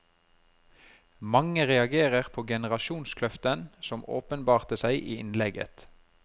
Mange reagerer på generasjonskløften som åpenbarte seg i innlegget.